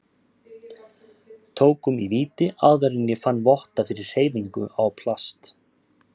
tökum í víti áður en ég finn votta fyrir hreyfingu á plast